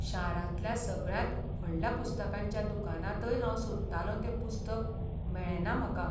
शारांतल्या सगळ्यांत व्हडल्या पुस्तकांच्या दुकानांतय हांव सोदतालों तें पुस्तक मेळ्ळें ना म्हाका.